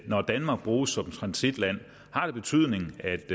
når danmark bruges som transitland har det betydning at